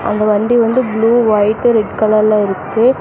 அங்க வண்டி வந்து ப்ளூ ஒயிட் ரெட் கலர்ல இருக்கு.